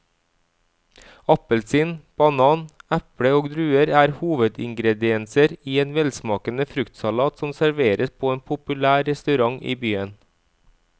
Appelsin, banan, eple og druer er hovedingredienser i en velsmakende fruktsalat som serveres på en populær restaurant i byen.